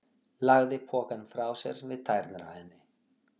Lagði pokann frá sér við tærnar á henni.